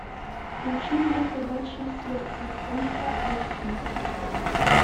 включи мне собачье сердце ультра айч ди